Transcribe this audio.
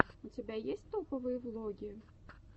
у тебя есть топовые влоги